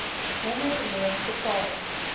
honger loon betaal